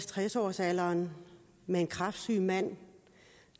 tres årsalderen med en kræftsyg mand